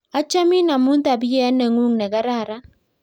achamin amun tabiet neng'un ne kararan